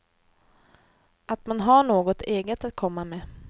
Att man har något eget att komma med.